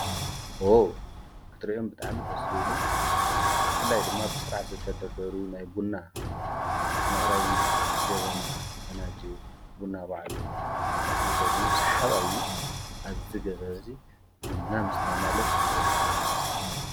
ኦ ክድርኦም ብጣኣምድ ስልሉ ምፍላይ ድማ ብሥርዓት ዘተደደሩ ናይ ቡና መቕረቢ ጀበና ፈናጅል ቡና ባዓሉ ተኾፍ ሚበል ዩ ሰሓባዩ ኣብዚ ገዛ እዙይ ብና ምስታይ ማለት እይወትካ ማኅዳስ ማለት እዩ።